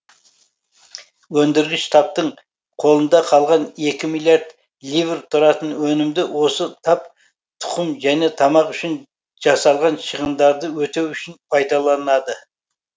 өндіргіш таптың қолында қалған екі миллиард ливр тұратын өнімді осы тап тұқым және тамақ үшін жасалған шығындарды өтеу үшін пайдаланады